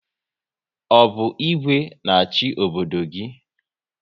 Ọ bụ Igwe na achị obodo gị?